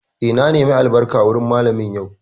Eh, na nemi albarka wurin Mallamin yau